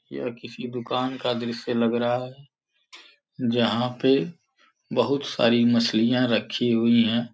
या किसी दुकान का दृश्य लग रहा है जहां पे बहुत सारी मछलियां रखी हुई हैं।